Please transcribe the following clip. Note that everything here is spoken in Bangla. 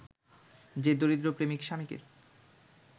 যে দরিদ্র প্রেমিক-স্বামীকে